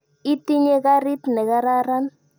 Itinye karit ne kararan.